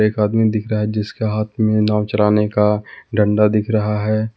एक आदमी दिख रहा है जिसके हाथ में नाव चलाने का डंडा दिख रहा है।